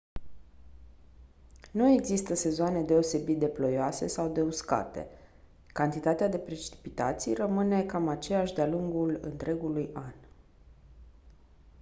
nu există sezoane deosebit de «ploioase» sau de «uscate»: cantitatea de precipitații rămâne cam aceeași de-a lungul întregului an.